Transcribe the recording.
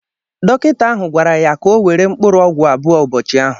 Dọkịta ahụ gwara ya ka ọ were Mkpụrụọgwụ abụọ ụbọchị ahu